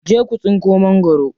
Je ku tsinko magwaro.